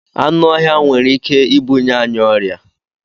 Anụ ọhịa nwere Ike ịbuye anyị ọrịa